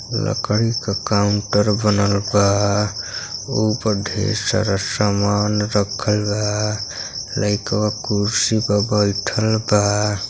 लकड़ी का काउंटर बनल बा ऊपर ढेर सारा सामान रक्खल बा लइकवा कुर्सी पर बइठल बा।